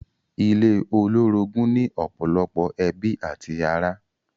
Ilé olórogún ni ọ̀pọ̀lọpọ̀ ẹbí àti ará.